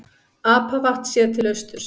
Apavatn séð til austurs.